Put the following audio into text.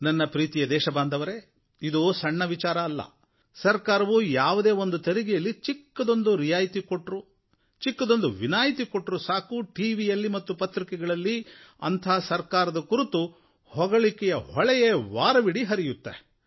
ನನ್ನ ಪ್ರೀತಿಯ ದೇಶಬಾಂಧವರೇ ಇದು ಸಣ್ಣ ವಿಚಾರವಲ್ಲ ಸರಕಾರವು ಯಾವುದೇ ಒಂದು ತೆರಿಗೆಯಲ್ಲಿ ಚಿಕ್ಕದೊಂದು ರಿಯಾಯತಿ ಕೊಟ್ಟರೂ ವಿನಾಯಿತಿ ಕೊಟ್ಟರೂ ಸಾಕು ಟಿವಿಯಲ್ಲಿ ಮತ್ತು ಪತ್ರಿಕೆಗಳಲ್ಲಿ ಅಂಥ ಸರಕಾರದ ಕುರಿತು ಹೊಗಳಿಕೆಗಳ ಹೊಳೆಯೇ ವಾರವಿಡೀ ಹರಿಯುತ್ತೆ